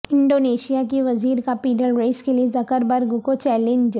Indonesia کی وزیر کا پیڈل ریس کیلئے زکر برگ کو چیلنج